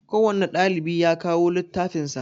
Kowanne ɗalibi ya kawo littafin sa